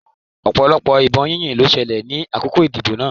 Ọ̀pọ̀lọpọ̀ ìbọn yíyìn ló ṣẹlẹ̀ ní àkókò ìdìbò náà.